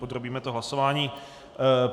Podrobíme to hlasování.